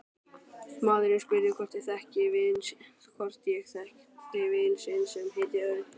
Maðurinn spurði hvort ég þekkti vin sinn sem héti Örn